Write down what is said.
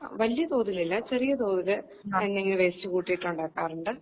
വലിയ തോതിലില്ല ചെറിയ തോതിൽ എന്തെങ്കിലും വേസ്റ്റ് കൂട്ടിയിട്ടുണ്ടാക്കാറുണ്ട്